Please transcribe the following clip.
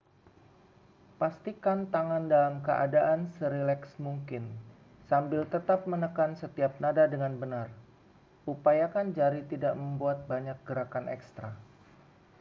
pastikan tangan dalam keadaan serileks mungkin sambil tetap menekan setiap nada dengan benar upayakan jari tidak membuat banyak gerakan ekstra